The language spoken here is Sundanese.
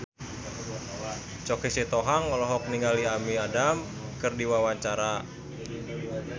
Choky Sitohang olohok ningali Amy Adams keur diwawancara